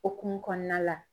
hokumu kɔnɔna la.